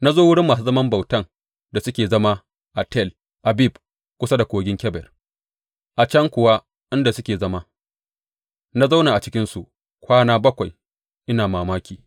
Na zo wurin masu zaman bautan da suke zama a Tel Abib kusa da Kogin Kebar, A can kuwa, inda suke zama, na zauna a cikinsu kwana bakwai, ina mamaki.